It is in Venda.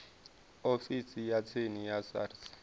ofisini ya tsini ya sars